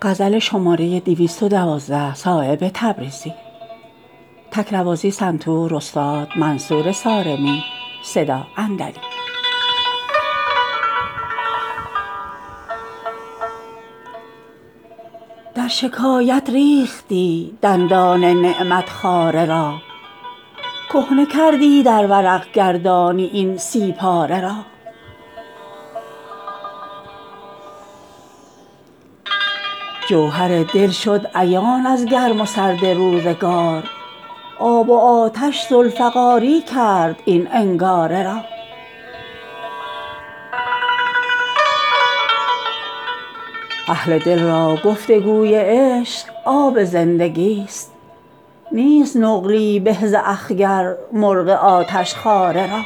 در شکایت ریختی دندان نعمت خواره را کهنه کردی در ورق گردانی این سی پاره را جوهر دل شد عیان از گرم و سرد روزگار آب و آتش ذوالفقاری کرد این انگاره را اهل دل را گفتگوی عشق آب زندگی است نیست نقلی به ز اخگر مرغ آتشخواره را